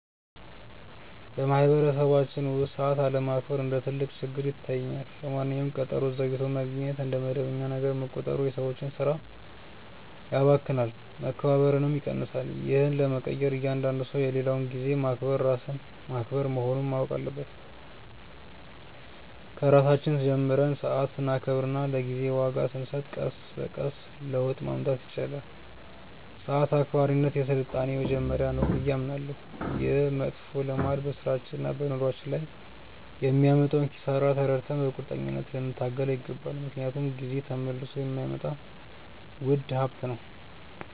በማኅበረሰባችን ውስጥ ሰዓት አለማክበር እንደ ትልቅ ችግር ይታየኛል። ለማንኛውም ቀጠሮ ዘግይቶ መገኘት እንደ መደበኛ ነገር መቆጠሩ የሰዎችን ሥራ ያባክናል፣ መከባበርንም ይቀንሳል። ይህን ለመቀየር እያንዳንዱ ሰው የሌላውን ጊዜ ማክበር ራስን ማክበር መሆኑን ማወቅ አለበት። ከራሳችን ጀምረን ሰዓት ስናከብርና ለጊዜ ዋጋ ስንሰጥ ቀስ በቀስ ለውጥ ማምጣት ይቻላል። ሰዓት አክባሪነት የሥልጣኔ መጀመሪያ ነው ብዬ አምናለሁ። ይህ መጥፎ ልማድ በሥራችንና በኑሯችን ላይ የሚያመጣውን ኪሳራ ተረድተን በቁርጠኝነት ልንታገለው ይገባል፤ ምክንያቱም ጊዜ ተመልሶ የማይመጣ ውድ ሀብት ነው።